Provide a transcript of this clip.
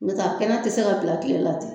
N'o tɛ a kɛnɛ te se ka bila kile la ten